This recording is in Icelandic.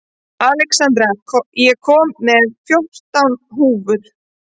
Alexandra, ég kom með fjórtán húfur!